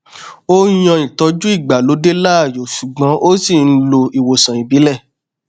ó yan ìtọjú ìgbàlódé láàyò ṣùgbọn ó ṣì n lo ìwòsàn ìbílẹ